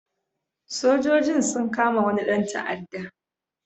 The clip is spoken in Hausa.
Sojojin sun kama wani ɗan ta'adda.